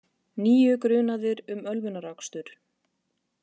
Níu grunaðir um ölvunarakstur